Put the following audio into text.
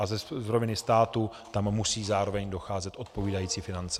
A z roviny státu tam musí zároveň docházet odpovídající finance.